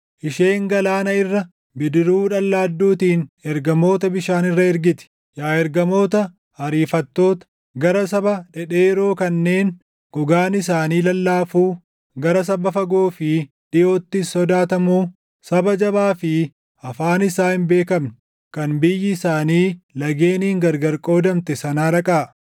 isheen galaana irra, bidiruu dhallaadduutiin ergamoota bishaan irra ergiti. Yaa ergamoota ariifattoota, gara saba dhedheeroo kanneen gogaan isaanii lallaafuu, gara saba fagoo fi dhiʼoottis sodaatamuu, saba jabaa fi afaan isaa hin beekamne kan biyyi isaanii lageeniin gargar qoodamte sanaa dhaqaa.